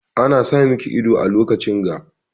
Ana sa miki ido a lokacin ga.